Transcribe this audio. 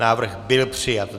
Návrh byl přijat.